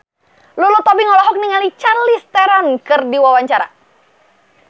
Lulu Tobing olohok ningali Charlize Theron keur diwawancara